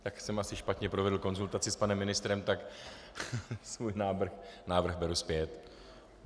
Tak jsem asi špatně provedl konzultaci s panem ministrem, tak svůj návrh beru zpět.